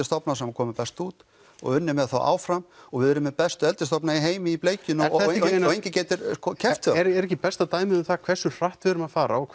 stofnar sem komu best út og unnið með þá áfram og við erum með bestu eldisstofna í heimi í bleikjunni og enginn getur keppt við er ekki besta dæmið um það hversu hratt við erum að fara og